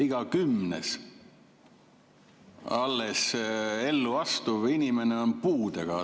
Iga kümnes alles ellu astuv inimene on puudega.